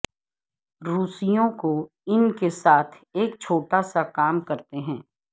روسیوں کو ان کے ساتھ ایک چھوٹا سا کام کرتے ہیں